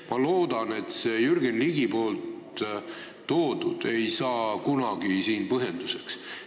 Ma loodan, et Jürgen Ligi toodu ei saa kunagi siin põhjenduseks.